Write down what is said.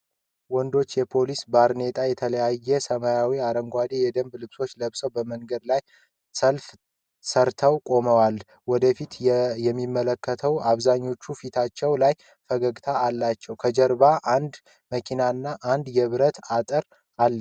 ወንዶች የፖሊስ ባርኔጣና የተለያዩ ሰማያዊና አረንጓዴ የደንብ ልብሶችን ለብሰው በመንገድ ላይ ሰልፍ ሰርተው ቆመዋል። ወደ ፊት የሚመለከቱት አብዛኛዎቹ ፊታቸው ላይ ፈገግታ አላቸው። ከጀርባ አንድ መኪናና አንዳንድ የብረት አጥር አለ።